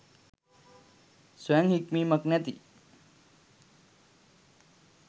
ස්වයං හික්මීමක් නැති